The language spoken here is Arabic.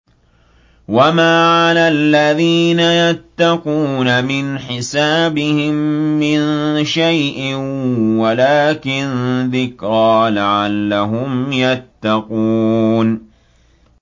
وَمَا عَلَى الَّذِينَ يَتَّقُونَ مِنْ حِسَابِهِم مِّن شَيْءٍ وَلَٰكِن ذِكْرَىٰ لَعَلَّهُمْ يَتَّقُونَ